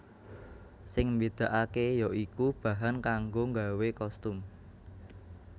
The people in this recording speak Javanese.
Sing mbedakake ya iku bahan kanggo nggawe kostum